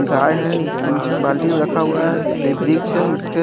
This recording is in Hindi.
गाय है इसके निचे बाल्टी में रखा हुआ है एक है इसके--